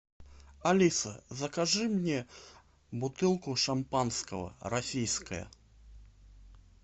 алиса закажи мне бутылку шампанского российское